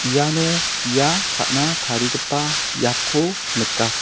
iano bia ka·na tarigipa biapko nika.